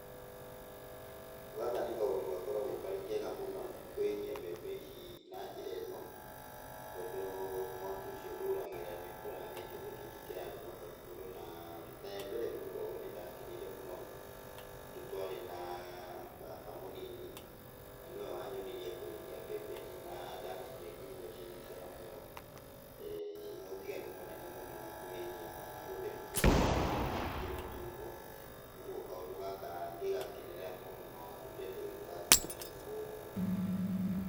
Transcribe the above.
Gaka nĩ kaũndũ gakoragwo karĩ kega mũno, kũhĩhia mbembe ici na njĩra ĩno, tondũ mwaki ũcio ndũragĩra nĩũkoraga he kĩndũ kĩngĩ kĩrarugwo hau igũrũ na, rita rĩa mbere gwĩka ũũ nĩndakenire mũno, tondũ twarĩ na baba mũnini na nĩwe wanyonirie kũhĩhia mbembe ici na ndacirĩa ngĩigua ciĩna cama mũno, ciĩna ũtiganu mũnene mũno na kũhĩhia kana gũtehrũkia mbembe ciĩ mũtungo. Ũguo kandũ gaka ngĩgakenenerera mũno na ndũire ndĩgekaga kinya mũthenya wa ũmũthĩ.